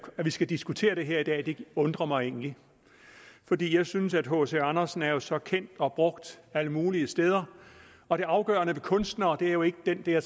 at vi skal diskutere det her i dag undrer mig egentlig fordi jeg synes at hc andersen er så kendt og brugt alle mulige steder og det afgørende ved kunstnere er jo ikke den der